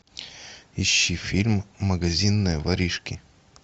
ищи фильм магазинные воришки